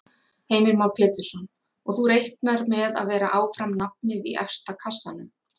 Heimir Már Pétursson: Og þú reiknar með að vera áfram nafnið í efsta kassanum?